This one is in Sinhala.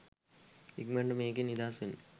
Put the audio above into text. ඉක්මනට මේකෙන් නිදහස් වෙන්න.